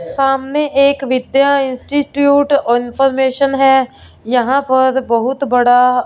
सामने एक Vidya institute information है यहां पर बहुत बड़ा--